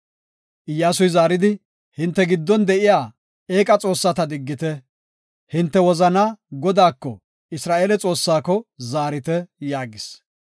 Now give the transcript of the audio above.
Iyyasuy zaaridi, “Hinte giddon de7iya eeqa xoossata diggite; hinte wozanaa Godaako, Isra7eele Xoossaako zaarite” yaagis.